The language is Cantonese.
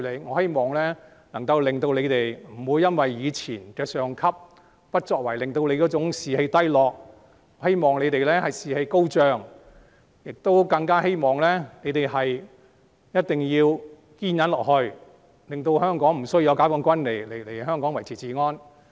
我希望能夠令警隊不要因為以往上級的不作為而士氣低落，我希望他們士氣高漲，我更希望他們一定要堅忍下去，令香港無須解放軍來維持治安。